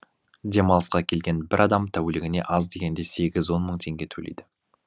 демалысқа келген бір адам тәулігіне аз дегенде сегіз он мың теңге төлейді